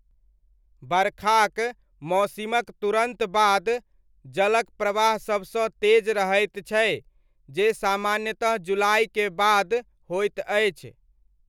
बरखाक मौसिमक तुरत बाद जलक प्रवाह सबसँ तेज रहैत छै जे सामान्यतः जुलाइक बाद होइत अछि।